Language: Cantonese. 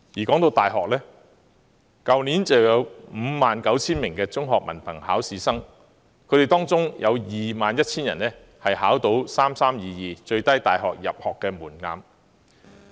談到大學，去年有 59,000 名中學文憑考試生，當中有 21,000 人考獲 "3-3-2-2" 最低大學入學門檻的成績。